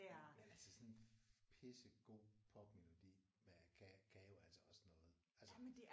Men altså sådan en pissegod popmelodi kan kan jo altså også noget altså